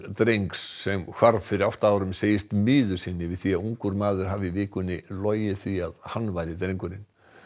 drengs sem hvarf fyrir átta árum segist miður sín yfir því að ungur maður haf i í vikunni logið því að hann væri drengurinn